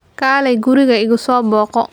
Kaalay guriga igu soo booqo.